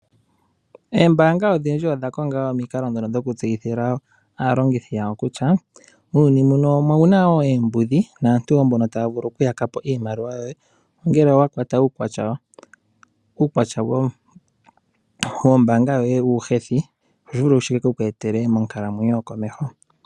Oombaanga odhindji odha konga omikalo ndhono dhoku tseyithila aalongithi yawo kutya muuyuni muno omuna wo oombudhi naantu mbono taya vulu okuyaka po iimaliwa yoye. Ngele owa kwata uukwatya wombaanga yoye uuhethi otashi vulika shi keku etele onkalamwenyo yokomeho.